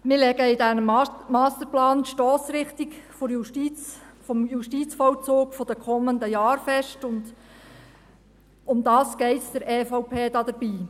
Wir legen in diesem Masterplan die Stossrichtung des Justizvollzugs der kommenden Jahre fest, und darum geht es der EVP dabei.